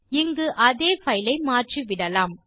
இங்கு அதே பைல் ஐ மாற்றிவிடலாம்